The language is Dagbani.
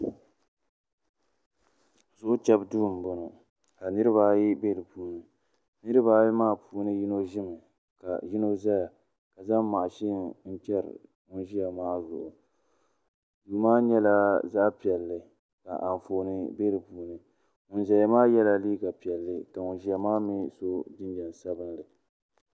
Zuɣu chɛbu duu n boŋo ka niraba ayi bɛ di puuni niraba ayi maa puuni yino ʒimi ka yino ʒɛya ka zaŋ mashin n chɛri ŋun ʒiya maa zuɣu duu maa nyɛla zaɣ piɛlli ka anfooni nim bɛ di puuni ŋun ʒiya maa yɛla liiga piɛlli ka ŋun ʒɛya maa mii so jinjɛm sabinli